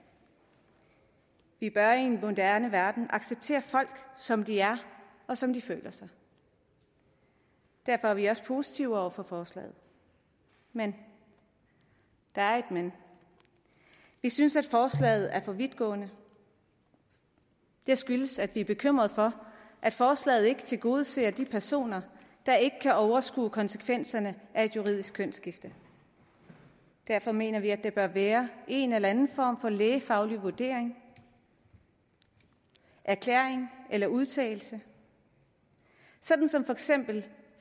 vi bør i en moderne verden acceptere folk som de er og som de føler sig derfor er vi også positive over for forslaget men der er et men vi synes at forslaget er for vidtgående det skyldes at vi er bekymrede for at forslaget ikke tilgodeser de personer der ikke kan overskue konsekvenserne af et juridisk kønsskifte derfor mener vi at der bør være en eller anden form for lægefaglig vurdering erklæring eller udtalelse sådan som for eksempel